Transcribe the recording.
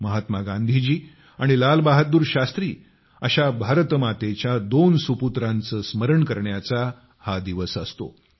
महात्मा गांधीजी आणि लाल बहादूर शास्त्री अशा भारत मातेच्या दोन सुपुत्रांचे स्मरण करण्याचा हा दिवस असतो